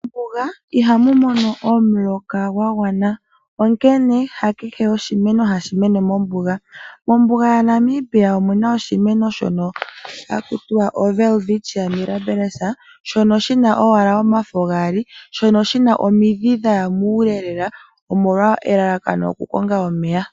Mombuga ihamu mono omuloka gwa gwana nawa onkene ha jehe oshimeno hashi mene mo. Mombuga yaNamibia ohamu adhika oshimeno shono hashi ithanwa Welwitchia milabills shono shina owala omafo geli gaali. Oshina omidhi dhaya muule lela nelalakano okukonga omeya.